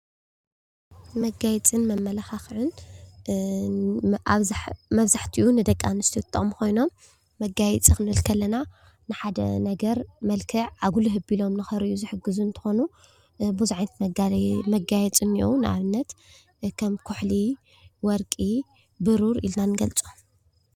መጋየጽን መመላካክዕን መብዛሕቲኡ ንደቂ ኣንስትዮ ዝጠቅሙ ኮይኖም መጋየጺ ክንብል ከለና ንሓደ ነገር መልክዕ ኣጉሊህ ኣቢሎም ንከርእዩ ዝሕግዙ እንትኮኑ ቡዙሕ ዓይነት መጋየጺ እንሄው ንኣብነት ከም ኩሕሊ፣ ወርቂ፣ ቡሩር ኢልና ንገልጾም።